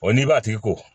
Ɔ n'i b'a tigi kɔ